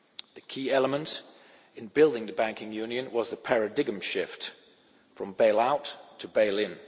The key element in building the Banking Union was the paradigm shift from bail out to bail in.